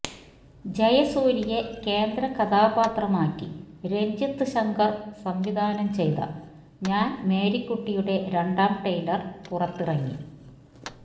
ജയസൂര്യയെ കേന്ദ്ര കഥാപാത്രമാക്കി രഞ്ജിത് ശങ്കർ സംവിധാനം ചെയ്ത ഞാൻ മേരിക്കുട്ടിയുടെ രണ്ടാം ട്രെയിലർ പുറത്തിങ്ങി